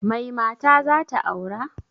Mai mata zata aura?